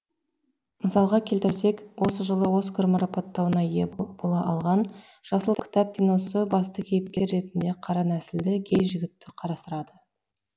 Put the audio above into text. мысалға келтірсек осы жылы оскар марапаттауына ие бола алған жасыл кітап киносы басты кейіпкер ретінде қара нәсілді гей жігітті қарастырады